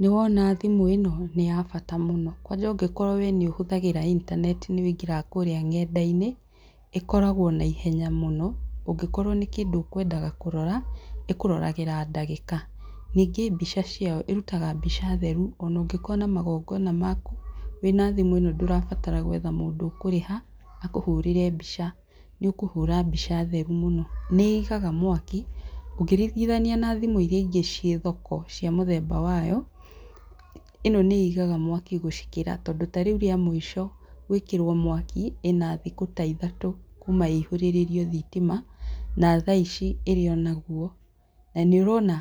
Nĩwona thimũ ĩno nĩ ya bata mũno. Kwanja ũngĩkorwo we nĩũhũthagĩra intaneti nĩ wũingagĩra kũrĩa ng'enda-inĩ ĩkoragwo na ihenya mũno, ũngĩkorwo nĩ kĩndũ ũkwendaga kũrora ĩkũroragĩra ndagĩka. Ningĩ mbica ciayo ĩrutaga mbica theru ona ũngĩ korwo na magongona maku, wĩna thimũ ĩno ndũrabatara gwetha mũndũ ũkũrĩha aa kũhũrĩre mbica, nĩ ũkũhũra mbica theru mũno. Nĩ ĩigaga mwaki ũngĩringithania na thimũ iria ingĩ ciĩ thoko cia mũthemba wayo ĩno nĩĩigaga mwaki gũcikĩra tondũ ta rĩu rĩa mũico gwĩkĩrwo mwaki, ĩna thikũ ta ithatũ kuma ĩihũrĩrĩrio thitima na tha ici ĩrĩ o naguo na nĩ ũrona